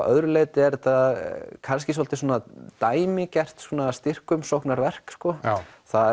öðru leyti er þetta kannski svolítið dæmigert styrkumsóknarverk sko já